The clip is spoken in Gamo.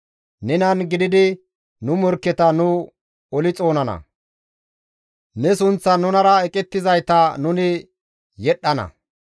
Nenan gididi nu morkketa nu oli xoonana; ne sunththan nunara eqettizayta nuni yedhdhana.